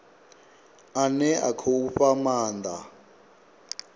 ane a khou fha maanda